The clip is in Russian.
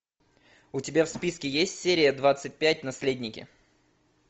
у тебя в списке есть серия двадцать пять наследники